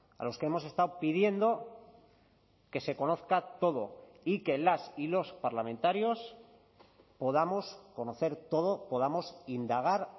a los que hemos estado pidiendo que se conozca todo y que las y los parlamentarios podamos conocer todo podamos indagar